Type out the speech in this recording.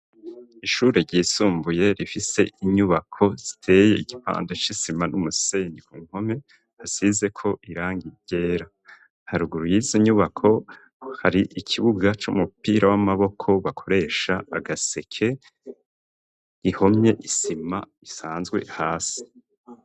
Ishure ryisumbuye rifise inyubako ziteye igipande c'isima n'umusenyi ku nkome hasizeko irangi ryera haruguru y'izo inyubako hari ikibuga c'umupira w'amaboko bakoresha agaseke ihomye isima isanzwe hasi.